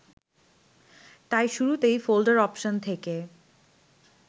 তাই শুরুতেই Folder Option থেকে